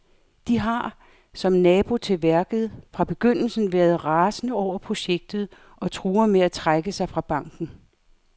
De har, som nabo til værket, fra begyndelsen været rasende over projektet og truer med at trække sig fra banken.